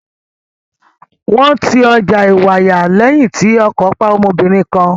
Wọ́n ti ọjà Ìwàyà lẹ́yìn tí ọkọ̀ pa ọmọbìnrin kan.